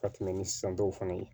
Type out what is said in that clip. Ka tɛmɛ ni san dɔw fana ye